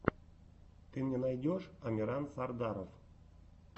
ты мне найдешь амиран сардаров